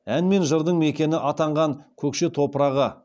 ән мен жырдың мекені атанған көкше топырағы